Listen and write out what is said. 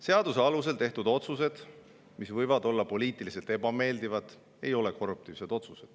Seaduse alusel tehtud otsused, mis võivad olla poliitiliselt ebameeldivad, ei ole korruptiivsed.